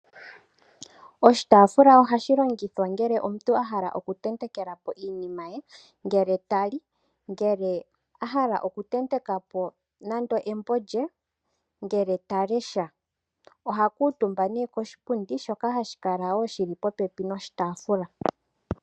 Oshitaafula ohashi longithwa okutenteka po iinima, ngele ta li nenge ngele a hala okutenteka po embo lye ngele ta lesha. Oha kuutumba nduno poshipundi shoka shi li popepi noshitaafula.